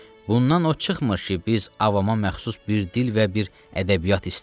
Bundan o çıxmır ki, biz avama məxsus bir dil və bir ədəbiyyat istəyirik.